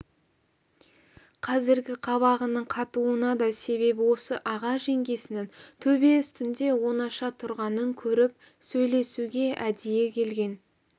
қазіргі қабағының қатуына да себеп осы аға жеңгесінің төбе үстінде оңаша тұрғанын көріп сөйлесуге әдейі келген